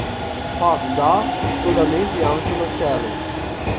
Pakt da, toda ne z Janšo na čelu.